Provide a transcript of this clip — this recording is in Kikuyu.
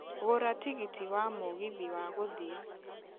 gũra tigiti wa mũgithi wa gũthiĩ